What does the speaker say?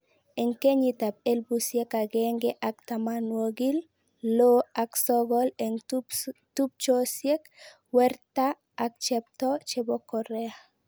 Eng kenyiit ap elepusiek agenge ak tamanwogil loo ak sogol eng tupchosiek werta ak cheptoo chepo Korea